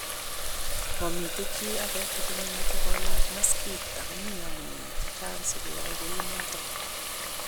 Momiten chito age nemoche kolach maskit okomiten amune chechang sikoyai kounon